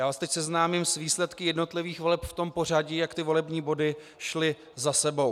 Já vás teď seznámím s výsledky jednotlivých voleb v tom pořadí, jak ty volební body šly za sebou.